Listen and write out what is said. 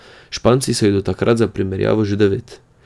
Španci so jih do takrat za primerjavo že devet.